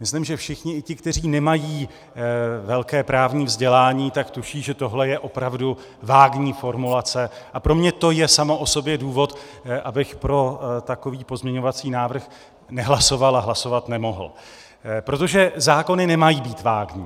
Myslím, že všichni, i ti, kteří nemají velké právní vzdělání, tak tuší, že tohle je opravdu vágní formulace, a pro mě to je samo o sobě důvod, abych pro takový pozměňovací návrh nehlasoval a hlasovat nemohl, protože zákony nemají být vágní.